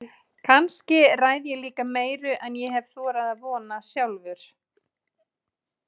Kannski ræð ég líka meiru en ég hef þorað að vona sjálfur.